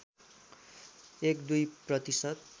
१ २ प्रतिशत